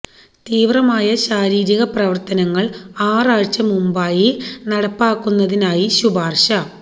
തീവ്രമായ ശാരീരിക പ്രവർത്തനങ്ങൾ ആറ് ആഴ്ച മുമ്പായി നടപ്പിലാക്കുന്നതിനായി ശുപാർശ